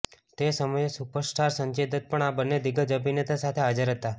તે સમયે સુપરસ્ટાર સંજય દત્ત પણ આ બંને દિગ્ગજ અભિનેતા સાથે હાજર હતો